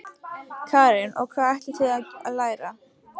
Karen: Og hvað ætlið þið að læra?